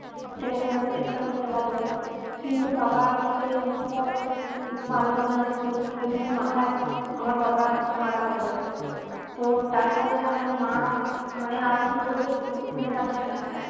সেরকমভাবে চেষ্টা করতে লাগলো কিন্তু বাবা সেই মুহূর্তে আর উম বাঁচলোনা ষোল সতেরো দিনের মাথায় আমার বাবা মারা গেলো তো তারপরে আমার মা উম মানে আর কি করবে খুঁজে পাচ্ছে না